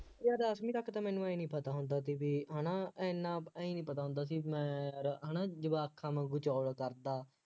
ਉਹ ਯਾਰ ਦੱਸਵੀਂ ਤੱਕ ਮੈਨੂੰ ਆਏਂ ਨਹੀਂ ਪਤਾ ਹੁੰਦਾ ਸੀ ਬਈ ਹੈ ਨਾ ਐਨਾ ਆਂਏਂ ਨਹੀਂ ਪਤਾ ਹੁੰਦਾ ਸੀ ਮੈਂ ਯਾਰ ਹੈ ਨਾ ਜਵਾਕਾਂ ਵਾਂਗੂੰ ਚੌੜ ਕਰਦਾ